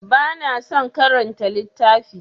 Ba na son karanta littafi.